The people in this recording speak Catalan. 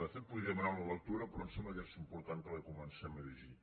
de fet en podria demanar una lectura però em sembla que és important que la comencem a llegir